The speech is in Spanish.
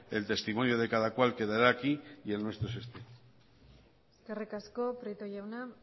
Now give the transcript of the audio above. el testimonio de cada cual quedará aquí y el nuestro es este eskerrik asko prieto jauna